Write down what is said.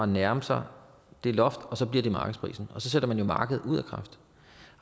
nærme sig det loft og så bliver det markedsprisen og så sætter man jo markedet ud af kraft